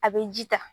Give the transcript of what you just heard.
A bɛ ji ta